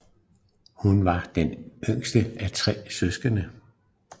Hun var den yngste af tre søskende